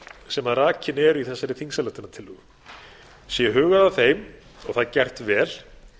sem rakin eru í þessari þingsályktunartillögu sé hugað að þeim og það gert vel